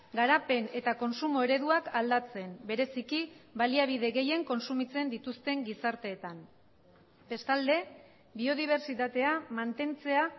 garapen eta kontsumo ereduak aldatzen bereziki baliabide gehien kontsumitzen dituzten gizarteetan bestalde biodibertsitatea mantentzea